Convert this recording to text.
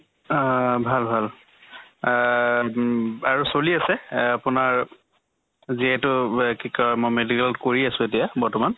আহ ভাল ভাল আহ উম আৰু চলি আছে এহ আপোনাৰ যিহেতু ৱে কি কয় মই medical ত কৰি আছো এতিয়া বৰ্তমান